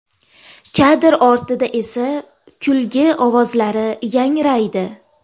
Kadr ortida esa kulgi ovozlari yangraydi.